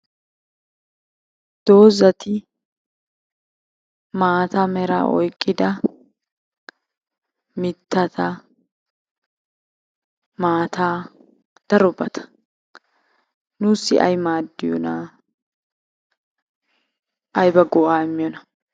Doozati maata meraa oyqqida mittata, maataa darobata. Nuussi ay maaddiyonaa, ayba go'aa immiyonaa?